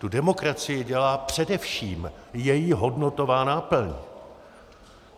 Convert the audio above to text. Tu demokracii dělá především její hodnotová náplň.